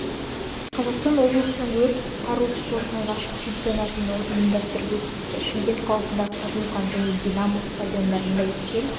қазақстан облысының өрт-құтқару спортынан ашық чемпионатын ұйымдастырып өткізді шымкент қаласындағы қажымұқан және динамо стадиондарында өткен